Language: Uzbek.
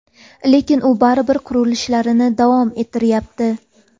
Lekin u baribir qurilishlarini davom ettirayapti.